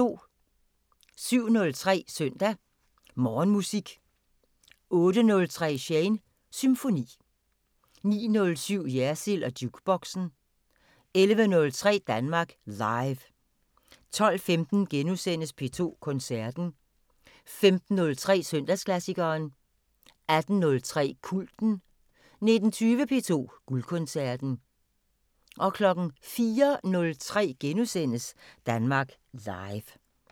07:03: Søndag Morgenmusik 08:03: Shanes Symfoni 09:07: Jersild & Jukeboxen 11:03: Danmark Live 12:15: P2 Koncerten * 15:03: Søndagsklassikeren 18:03: Kulten 19:20: P2 Guldkoncerten 04:03: Danmark Live *